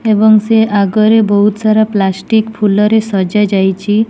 ଏବଂ ସେ ଆଗରେ ବୋହୁତ୍ ସାରା ପ୍ଲାଷ୍ଟିକ୍ ଫୁଲରେ ସଜା ଯାଇଚି।